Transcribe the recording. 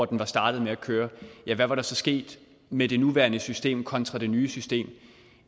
den var startet med at køre hvad var der så sket med det nuværende system kontra det nye system